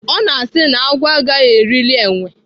Ọ na-asị na-agwọ agaghị erili enwe.